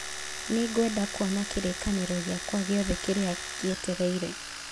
Nĩngwenda kuona kĩririkano gĩakwa gĩothe kĩrĩa kĩetereire